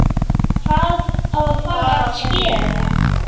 Hvað á að fara að skera?